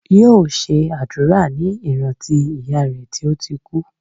Yóò ṣe àdúrà ní ìrántí ìyá rè tí ó ti kú